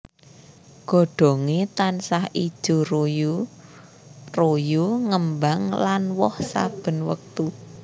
Godhonge tansah ijo royo royo ngembang lan woh saben wektu